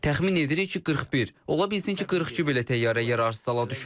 Təxmin edirik ki, 41, ola bilsin ki, 42 belə təyyarə yararsız hala düşüb.